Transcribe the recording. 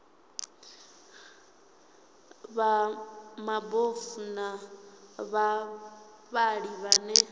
vha mabofu na vhavhali vhane